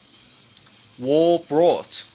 war brought